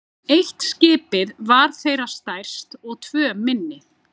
Eitt skipið var þeirra stærst og tvö minni.